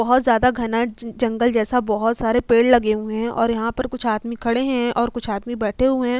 बोहोत ज्यादा घना जंग जंगल जैसा बोहोत सारे पेड़ लगे हुए हैं और यहाँ पर कुछ आदमी खड़े हैं और कुछ आदमी बैठे हुए हैं।